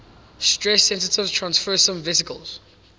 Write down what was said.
stress sensitive transfersome vesicles